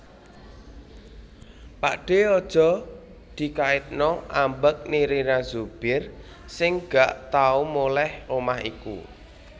Pakdhe aja dikaitno ambek Nirina Zubir sing gak tau moleh omah iku